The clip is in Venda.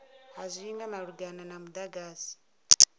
ha zwinwe malugana na mudagasi